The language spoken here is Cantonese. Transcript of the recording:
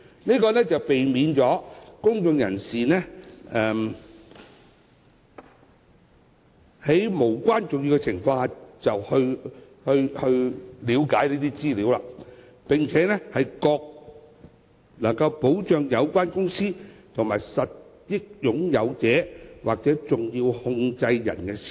此舉避免公眾人士在無關重要的情況下查閱這方面的資料，亦能保障有關公司和實益擁有者或重要控制人的私隱。